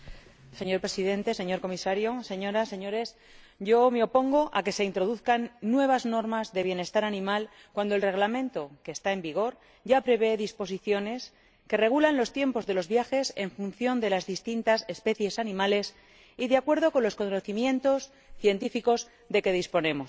Señor Presidente, señor Comisario, Señorías, me opongo a que se introduzcan nuevas normas de bienestar animal cuando el Reglamento que está en vigor ya prevé disposiciones que regulan los tiempos de los viajes en función de las distintas especies animales y de acuerdo con los conocimientos científicos de que disponemos.